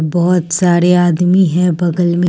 बहुत सारे आदमी हैं बगल में।